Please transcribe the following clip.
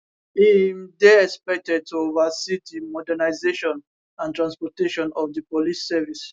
im dey expected to oversee di modernisation and transformation of di police service